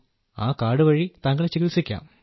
ആ കാർഡു വഴി താങ്കളെ ചികിത്സിക്കാം